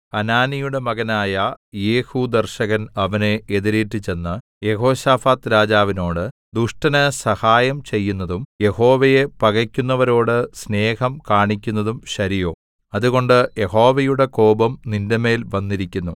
ഹനാനിയുടെ മകനായ യേഹൂദർശകൻ അവനെ എതിരേറ്റുചെന്ന് യെഹോശാഫാത്ത് രാജാവിനോട് ദുഷ്ടന് സഹായം ചെയ്യുന്നതും യഹോവയെ പകെക്കുന്നവരോട് സ്നേഹം കാണിക്കുന്നതും ശരിയോ അതുകൊണ്ട് യഹോവയുടെ കോപം നിന്റെമേൽ വന്നിരിക്കുന്നു